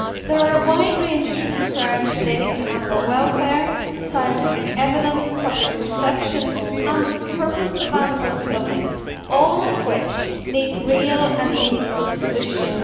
There are a wide range of concerns relating to animal welfare, scientific evidence, public perception, and the purpose of animal cloning, all of which need real and meaningful solutions.